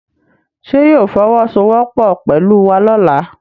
Ṣé yóò fọwọ́ sowọ́ pọ̀ pẹ̀lú wa lọ́la?